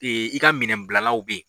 i ka minɛn bila law bɛ ye.